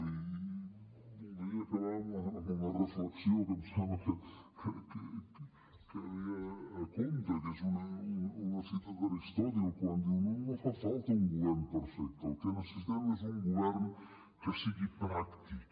i voldria acabar amb una reflexió que em sembla que ve a tomb que és una cita d’aristòtil quan diu no fa falta un govern perfecte el que necessitem és un govern que sigui pràctic